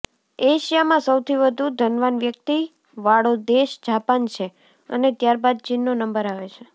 એશિયામાં સૌથી વધુ ધનવાન વ્યક્તિવાળો દેશ જાપાન છે અને ત્યારબાદ ચીનનો નંબર આવે છે